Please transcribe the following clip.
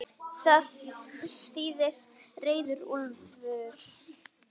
Það þýðir reiður úlfur.